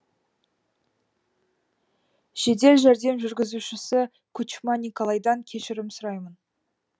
жедел жәрдем жүргізушісі кучма николайдан кешірім сұраймын